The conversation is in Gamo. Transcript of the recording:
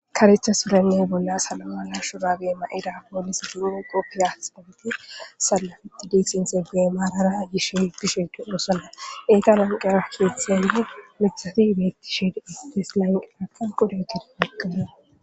Karetha surenne bollara salowa mala shuraabe mayidida pooliseti salpettidi maarara yishe doosona enta lanqeera miththati shiiqi de7osona .